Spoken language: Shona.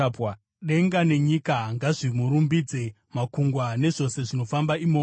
Denga nenyika ngazvimurumbidze, makungwa nezvose zvinofamba, imomo,